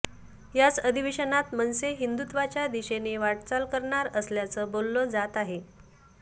याच अधिवेशनात मनसे हिंदुत्वाच्या दिशेने वाटचाल करणार असल्याचं बोललं जात आहे